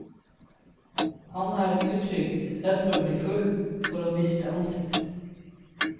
Han er utrygg, redd for å bli full, for å miste ansikt.